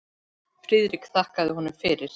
Friðrik þakkaði honum fyrir.